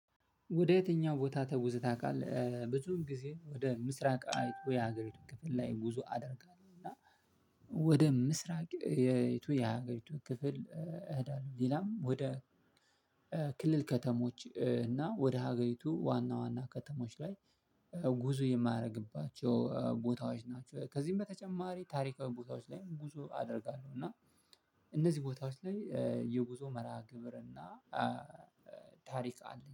ወደ የትኛው ቦታ ተጉዘህ ታቃለህ? ብዙውን ጊዜ ወደ ምስራቅ የሀገሪቱ ክፍል ላይ ጉዞ አደርጋለሁ እና ወደ ምስራቅ የሀገሪቱ ክፍል እህዳለሁ። ሌላም ወደ ክልል ከተሞች እና ወደ ሀገሪቱ ዋና ዋና ከተሞች ላይ ጉዞ የማርግባቸው ቦታዎች ናቸው። ከዚህም በተጨማሪ ታሪካዊ ቦታዎች ላይ ጉዞ አደርጋለሁ። እና እነዚህ ቦታዎች ላይ የጉዞ መርሃ ግብር እና ታሪክ አለኝ